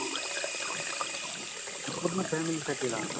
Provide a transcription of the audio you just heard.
पूर्ण फॅमिलीसाठी राहणार